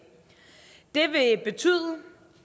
det vil betyde